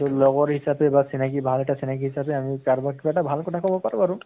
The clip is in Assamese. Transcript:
লগৰ হিচাপে বা চিনাকি ভাল এটা চিনাকি হিচাপে আমি কাৰবাক কিবা এটা ভাল কথা কʼব পাৰো আৰু।